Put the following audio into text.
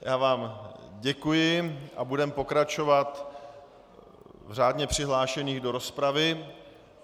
Já vám děkuji a budeme pokračovat v řádně přihlášených do rozpravy.